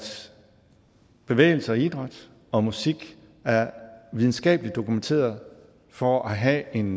bevægelse og idræt og musik er videnskabeligt dokumenteret for at have en